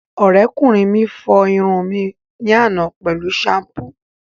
Ọ̀rẹ́kùnrin mi fọ irun mi ní àná pẹ̀lú ṣampú